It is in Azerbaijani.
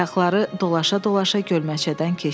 Ayaqları dolaşa-dolaşa gölməçədən keçdi.